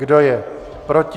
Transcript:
Kdo je proti?